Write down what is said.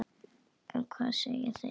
En hvað segja þeir?